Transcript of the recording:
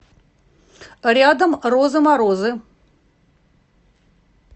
рядом розы морозы